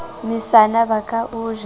mesana ba ka o ja